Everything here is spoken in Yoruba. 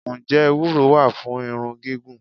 Ǹjẹ́ Ewúro wá fún irun gígùn?